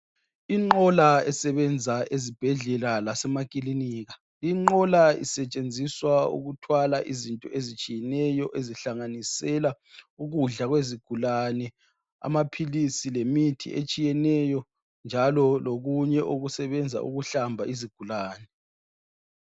Inqola esebenza ezibhedlela kanye lasemakilinika. Inqola isetshenziswa ukuthwala izinto ezitshiyeneyo ezihlanganisela ukudla kwezigulane ,amaphilisi lemithi etshiyeneyo njalo lokunye okusebenza ukuhlamba izigulane.